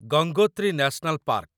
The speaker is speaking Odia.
Gangotri national park